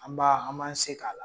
An b'a an m'an se k'a la.